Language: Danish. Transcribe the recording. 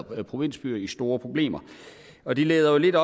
provinsbyer i store problemer og det leder jo lidt